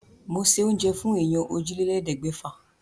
Mo se oúnjẹ fún èèyàn òjìlélẹ́ẹ̀ẹ́dẹ́gbẹ́fà.